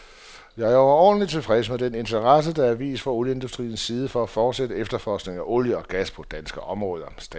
Jeg er overordentlige tilfreds med den interesse, der er vist fra olieindustriens side for at forsætte efterforskningen af olie og gas på dansk område.